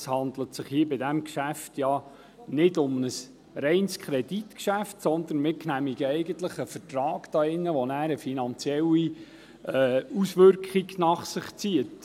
Es handelt sich bei diesem Geschäft nicht um ein reines Kreditgeschäft, sondern wir genehmigen eigentlich einen Vertrag, der eine finanzielle Auswirkung nach sich zieht.